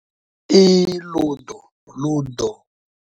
I Ludo, Ludo.